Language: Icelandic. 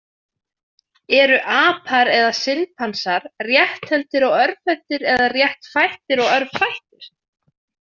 Eru apar, eða simpansar, rétthentir og örvhentir, eða réttfættir og örvfættir?